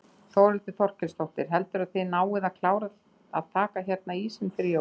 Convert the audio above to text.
Þórhildur Þorkelsdóttir: Heldurðu að þið náið að klára að taka hérna ísinn fyrir jól?